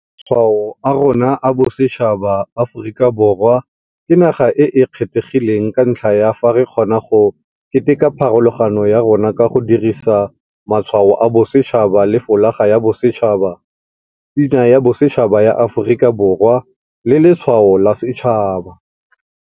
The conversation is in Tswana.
Matshwao a rona a bosetšhaba Aforika Borwa ke naga e e kgethegileng ka ntlha ya fa re kgona go keteka pharologano ya rona ka go dirisa Matshwao a Bosetšhaba le Folaga ya Bosetšhaba, Pina ya Bosetšhaba ya Aforika Borwa le Letshwao la Setšhaba.